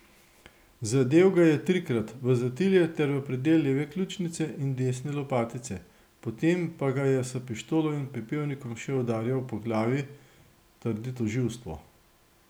Zadel ga je trikrat, v zatilje ter v predel leve ključnice in desne lopatice, potem pa ga je s pištolo in pepelnikom še udarjal po glavi, trdi tožilstvo.